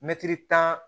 Mɛtiri tan